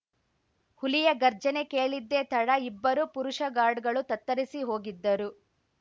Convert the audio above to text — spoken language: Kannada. ಹುಲಿಯ ಘರ್ಜನೆ ಕೇಳಿದ್ದೇ ತಡ ಇಬ್ಬರೂ ಪುರುಷ ಗಾರ್ಡ್‌ಗಳು ತತ್ತರಿಸಿ ಹೋಗಿದ್ದರು